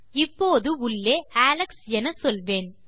இப்போது உள்ளே அலெக்ஸ் என சொல்வேன்